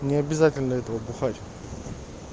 не обязательно этого бухать